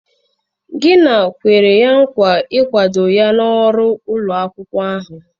Gina kwere nkwa nkwado ya na ọrụ ụlọ akwụkwọ ahụ.